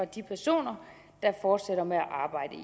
de personer der fortsætter med at arbejde i